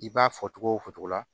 I b'a fɔ togo o fɔtogo la